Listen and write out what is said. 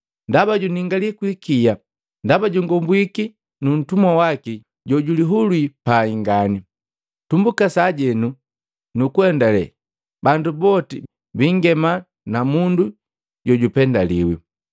Ndaba juningali kwikiya ndaba jukombwiki ntumwa waki jojulihulwii pai ngani! Tumbuka sajeno nukuendale bandu boti biingema na mundu jojupendaliwi,